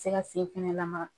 tɛ se ka sen fɛnɛ lamaga.